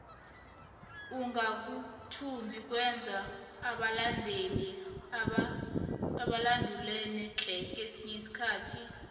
ukangathumbi kwenza abalandeli badulane tle kesinye isikhathi